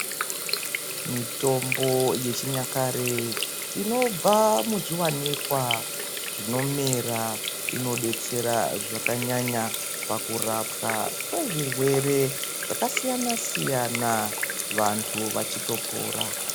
Mitombo yechinyakare inobva muzviwanikwa zvinomera inodetsera zvakanyanya pakurapwa kwezvirwere zvakasiyana-siyana vantu vachitopora.